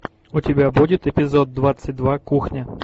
у тебя будет эпизод двадцать два кухня